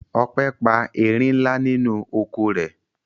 Ope pa erin ńlá nínú oko rẹ̀.